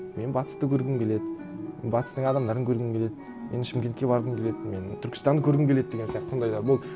мен батысты көргім келеді батыстың адамдарын көргім келеді мен шымкентке барғым келеді мен түркістанды көргім келеді деген сияқты сондайлар болды